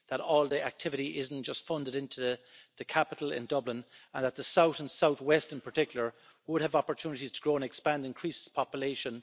that all the activity isn't just funded into the capital in Dublin, and that the south and south west in particular would have opportunities to grow and expand and increase its population